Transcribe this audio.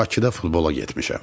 Bakıda futbola getmişəm.